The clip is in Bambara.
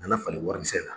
Na falen warimisɛn na